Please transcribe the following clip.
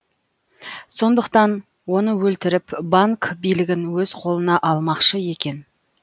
сондықтан оны өлтіріп банк билігін өз қолына алмақшы екен